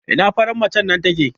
Ina farar macen nan take?